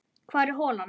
Hvar er holan?